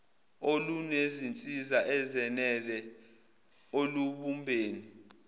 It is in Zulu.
olunezinsiza ezenele olubumbeni